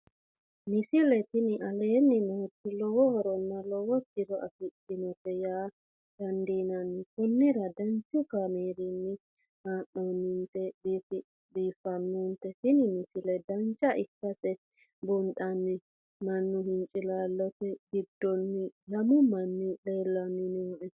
misile tini aleenni nooti lowo horonna lowo tiro afidhinote yaa dandiinanni konnira danchu kaameerinni haa'noonnite biiffannote tini misile dancha ikkase buunxanni mannu hincilaallote giddonni lamu manni lellanni nooe